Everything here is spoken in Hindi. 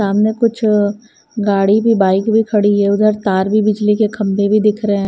सामने कुछ गाड़ी भी बाइक भी खड़ी है उधर तार भी बिजली के खंबे भी दिख रहे --